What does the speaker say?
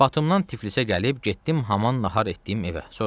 Batumdan Tiflisə gəlib getdim haman nahar etdiyim evə.